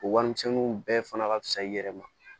O warimisɛnninw bɛɛ fana ka fisa i yɛrɛ ma